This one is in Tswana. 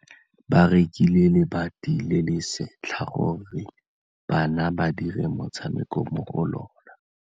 Ba rekile lebati le le setlha gore bana ba dire motshameko mo go lona.